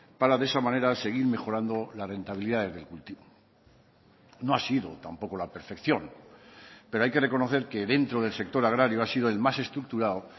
para de esa manera seguir mejorando la rentabilidad del cultivo no ha sido tampoco la perfección pero hay que reconocer que dentro del sector agrario ha sido el más estructurado